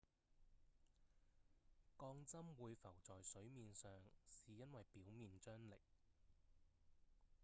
鋼針會浮在水面上是因為表面張力